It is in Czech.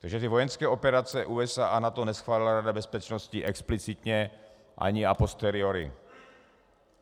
Takže ty vojenské operace USA a NATO neschválila Rada bezpečnosti explicitně ani a posteriori.